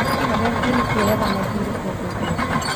Nĩ ũnogetie nĩkũoyaga mathiirĩ kũndũ guothe